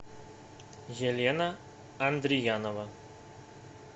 елена андриянова